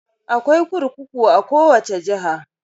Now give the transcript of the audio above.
Akwai kurkuku a kowace jiha.